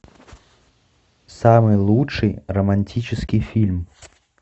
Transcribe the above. самый лучший романтический фильм